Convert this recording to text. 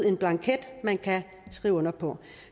en blanket man kan skrive under på